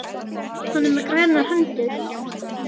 Hann er með grænar hendur.